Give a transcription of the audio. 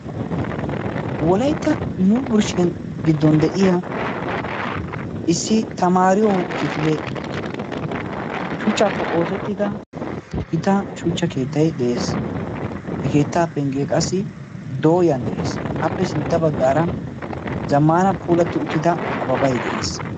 wolaitta yuuburshshiyan giddon de7iya issi tamaariyo kifile shuchchaappe oosettida gitan shuchcha keettai de7ees he keettaa penggee qassi dooyan de7ees appe sintta baggaara zammaana puulatti uttida ababai de7ees